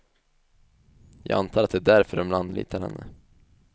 Jag antar att det är därför de anlitar henne.